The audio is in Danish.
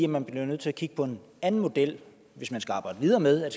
man bliver nødt til at kigge på en anden model hvis man skal arbejde videre med at